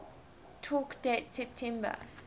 talk date september